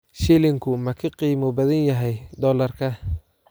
Shilinku ma ka qiimo badan yahay dollarka?